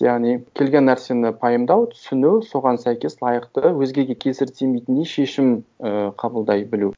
яғни келген нәрсені пайымдау түсіну соған сәйкес лайықтығы өзгеге кесірі тимейтіндей шешім і қабылдай білу